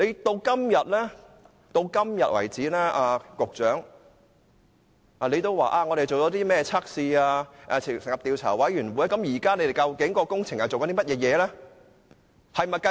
到今天為止，局長說進行了測試，政府當局也成立了調查委員會，但究竟港鐵公司現正進行甚麼工程？